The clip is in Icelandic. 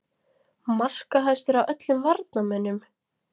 Markahæstur af öllum varnarmönnum??